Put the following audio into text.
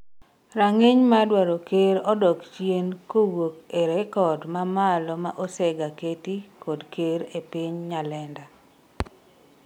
rang'iny mar dwaro ker odok chien kowuok e rekod mamalo ma osega keti kod ker e piny Nyalenda